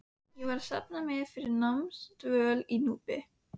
Ég var að safna mér fyrir námsdvöl á Núpi.